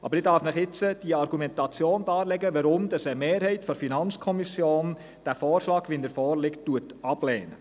Aber ich darf Ihnen jetzt die Argumentation darlegen, weshalb eine Mehrheit der FiKo den vorliegenden Vorschlag ablehnt.